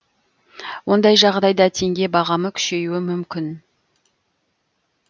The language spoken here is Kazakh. ондай жағдайда теңге бағамы күшеюі мүмкін